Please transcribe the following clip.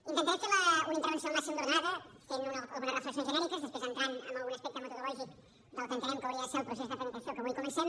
intentarem fer una intervenció el màxim d’ordenada fent algunes reflexions després entrant en algun aspecte metodològic del que entenem que hauria de ser el procés de tramitació que avui comencem